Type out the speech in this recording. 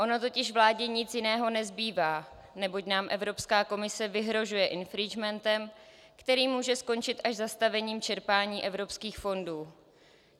Ono totiž vládě nic jiného nezbývá, neboť nám Evropská komise vyhrožuje infringementem, který může skončit až zastavením čerpání evropských fondů.